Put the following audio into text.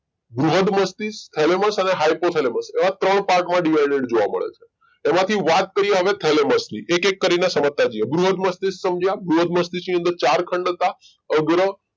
બૃહદ મસ્તિષ્ક thalamus અને hypothalamus એવા ત્રણ part માં divided જોવા મળે છે એમાંથી વાત કરીએ હવે thalamus ની એક એક કરીને સમજતા જઈએ બૃહદ મસ્તિષ્ક સમજ્યા બૃહદ મસ્તિષ્ક ની અંદર ચાર ખંડ હતા અગ્ર